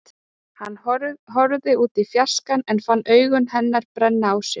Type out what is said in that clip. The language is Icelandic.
Hann horfði út í fjarskann en fann augu hennar brenna á sér.